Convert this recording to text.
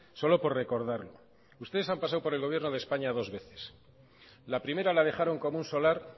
solo por recordarlo ustedes han pasado por el gobierno de españa dos veces la primera la dejaron como un solar